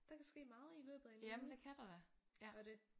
Der kan ske meget i løbet af en uge og det